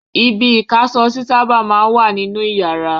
Ibi-ìkáṣọsí sábà máa ń wà nínú ìyàrá.